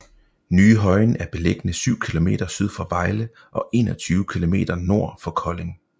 Ny Højen er beliggende syv kilometer syd for Vejle og 21 kilometer nord for Kolding